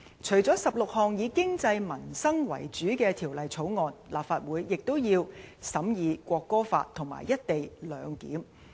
除了16項以經濟民生為主的條例草案，立法會也要審議《國歌法》和"一地兩檢"。